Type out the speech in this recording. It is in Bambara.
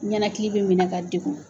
Ɲanakili bɛ minɛ ka degun.